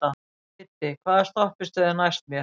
Kiddi, hvaða stoppistöð er næst mér?